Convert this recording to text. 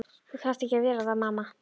Þú þarft ekki að vera það mamma.